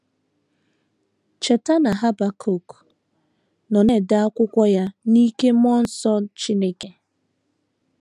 Cheta na Habakuk nọ na - ede akwụkwọ ya n’ike mmụọ nsọ Chineke.